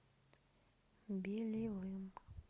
белевым